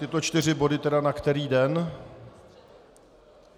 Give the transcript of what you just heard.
Tyto čtyři body tedy na který den?